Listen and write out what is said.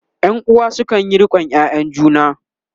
ƴan uwa sukanyi riƙon ƴaƴan juna